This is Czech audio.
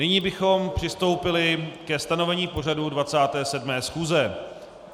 Nyní bychom přistoupili ke stanovení pořadu 27. schůze.